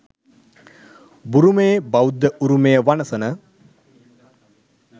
බුරුමයේ බෞද්ධ උරුමය වනසන